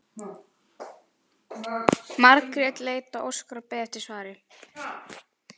Margrét leit á Óskar og beið eftir svari.